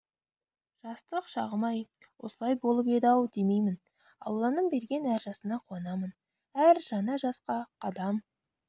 жастық шағым-ай осылай болып еді-ау демеймін алланың берген әр жасына қуанамын әр жаңа жасқа қадам